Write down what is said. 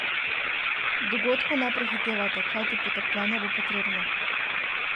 Dogodkov ne prehitevajte, kajti potrpljenje bo potrebno.